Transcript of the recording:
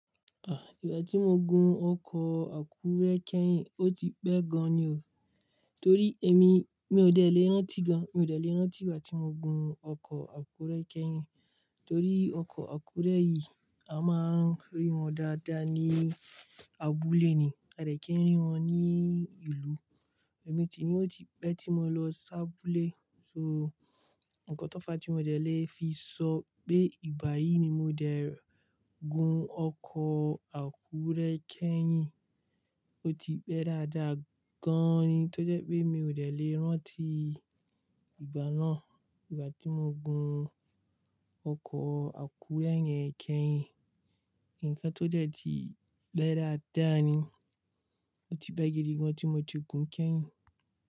Ah, ìgbà tí mo gun ọkọ̀ Àkúré kẹ́yìn, ó ti pẹ́ gan-an ni o. Torí èmi, mi ò dẹ̀ lé rántí gan-an, mi ò dẹ̀ lé rántí ìgbà tí mo gun ọkọ̀ Àkúré kẹ́yìn. Torí ọkọ̀ Àkúré yìí, a máa ń rí wọn dáadáa ní abúlé ni, a dẹ̀ kí ń rí wọn ní ìlú. Èmi sini ó ti pẹ́ tí mo lọ sábulé. So, ǹkan tó fa tí mo dẹ̀ lé fi sọ pé ìgbà yìí ni mo dẹ̀ gun ọkọ̀ Àkúré kẹ́yìn. Ó ti pẹ́ dáadáa gan-an ni tó jẹ́ pé mi ò dẹ̀ lé rántí ìgbà náà. Ìgbà tí mo gun ọkọ̀ Àkúré yẹn kẹ́yìn, ǹkan tó dẹ́ ti pẹ́ dáadáa ni. Ó ti bẹ́ gidi gan tí mo ti gun kẹ́yìn.